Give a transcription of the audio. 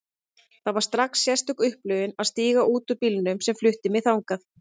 Það var strax sérstök upplifun að stíga út úr bílnum sem flutti mig þangað.